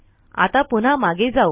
आता पुन्हा मागे जाऊ